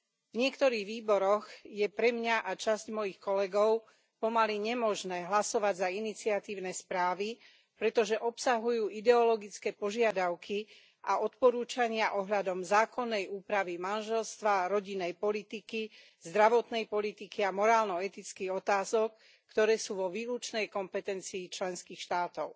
V niektorých výboroch je pre mňa a časť mojich kolegov pomaly nemožné hlasovať za iniciatívne správy, pretože obsahujú ideologické požiadavky a odporúčania ohľadom zákonnej úpravy manželstva a rodinnej politiky, zdravotnej politiky a morálno etických otázok, ktoré sú vo výlučnej kompetencii členských štátov.